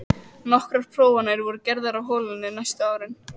Nokkrar prófanir voru gerðar á holunni næstu árin.